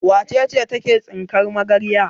Wace ce take tsinkar magarya?